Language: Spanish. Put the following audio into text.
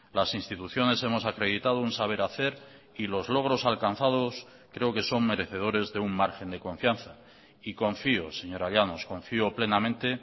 las instituciones hemos acreditado un saber hacer y los logros alcanzados creo que son merecedores de un margen de confianza y confío señora llanos confío plenamente